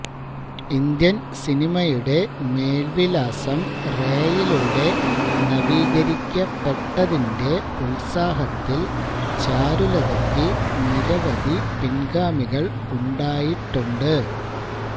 Indian സിനിമയുടെ മേൽവിലാസം റേയിലൂടെ നവീകരിക്കപ്പെട്ടതിന്റെ ഉത്സാഹത്തിൽ ചാരുലതക്ക് നിരവധി പിൻഗാമികൾ ഉണ്ടായിട്ടുണ്ട്